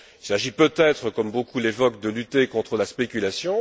Il s'agit peut être, comme beaucoup l'évoquent, de lutter contre la spéculation.